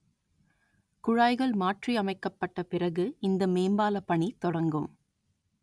குழாய்கள் மாற்றி அமைக்கப்பட்ட பிறகு இந்த மேம்பால பணி தொடங்கும்